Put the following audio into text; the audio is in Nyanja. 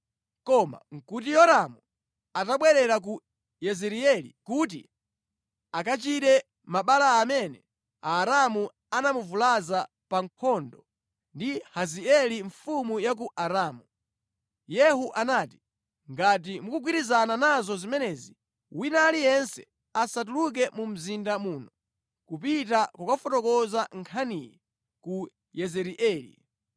koma nʼkuti Yoramu atabwerera ku Yezireeli kuti akachire mabala amene Aaramu anamuvulaza pa nkhondo ndi Hazaeli mfumu ya ku Aramu.) Yehu anati, “Ngati mukugwirizana nazo zimenezi, wina aliyense asatuluke mu mzinda muno kupita kukafotokoza nkhaniyi ku Yezireeli.”